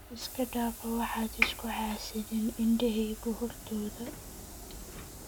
iskadafa waxad iskuxasidhin indeheyku hortodhaa.